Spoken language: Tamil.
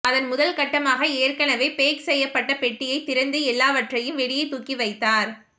அதன் முதல் கட்டமாக ஏற்கனவே பேக் செய்யப்பட்ட பெட்டியை திறந்து எல்லாவற்றையும் வெளியே தூக்கி வைத்தார்